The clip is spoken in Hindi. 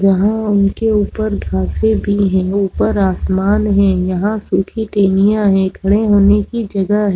यहाँ उनके ऊपर फसे नहीं हे ऊपर आसमान हे यहाँ सूखे टहनियाँ हे खड़े होने की जगह है।